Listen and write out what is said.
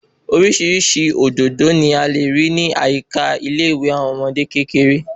Orísirísi òdòdó ni a lè rí ní àyíká ilé ìwé àwọn ọmọdé kékeré